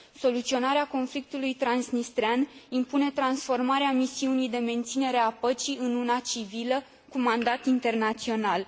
Soluționarea conflictului transnistrean impune transformarea misiunii de menținere a păcii în una civilă, cu mandat internațional.